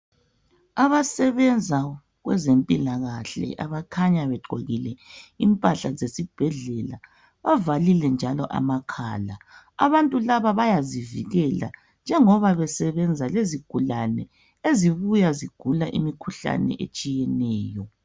Abasebenza kwezempilakahle abakhanya begqokile impahla zesibhedlela. Bavalile njalo amakhala. Abantu laba bayazivikela njengoba besebenza lezigulane ezibuya zigula imikhuhlane etshiyeneyo.